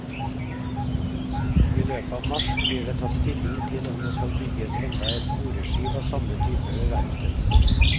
I løpet av mars blir det tatt stilling til om det skal bygges enda et boreskip av samme type ved verftet.